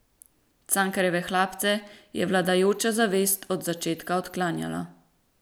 Cankarjeve Hlapce je vladajoča zavest od začetka odklanjala.